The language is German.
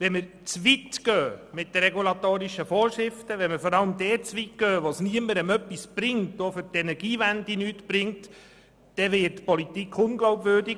Gehen wir mit den regulatorischen Vorschriften zu weit, vor allem dort, wo es niemandem etwas bringt, auch für die Energiewende nicht, wird die Politik unglaubwürdig.